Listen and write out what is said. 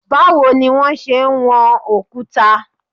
Báwo ni wón ṣe ń wọn òkúta?